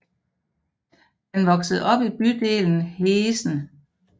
Han voksede op i bydelen Heessen